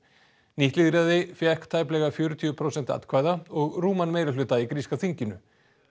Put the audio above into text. nýtt lýðræði fékk tæplega fjörutíu prósent atkvæða og rúman meirihluta í gríska þinginu